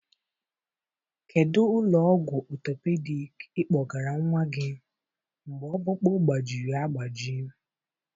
Kedu ụlọ ọgwụ orthopedic ị kpọgara nwa gị mgbe ọkpụkpụ gbajiri agbaji?